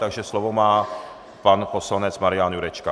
Takže slovo má pan poslanec Marian Jurečka.